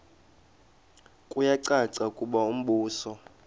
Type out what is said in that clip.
kuyacaca ukuba umbuso